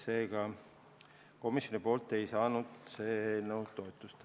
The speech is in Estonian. Seega, komisjonilt ei saanud see eelnõu toetust.